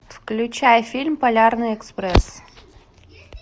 включай фильм полярный экспресс